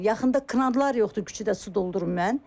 Yaxında kranlar yoxdur küçəyə su doldurun mən.